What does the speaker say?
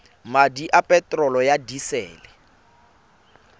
madi a peterolo ya disele